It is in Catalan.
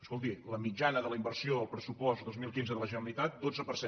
escolti la mitjana de la inversió al pressupost dos mil quinze de la generalitat dotze per cent